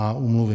a) Úmluvy.